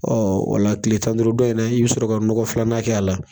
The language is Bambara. Ɔ wala kilel tan ni duuru dɔ in na, i' bɛ sɔrɔ ka nɔgɔ filanan k' a la.